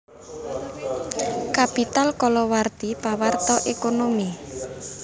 Capital kalawarti pawarta ékonomi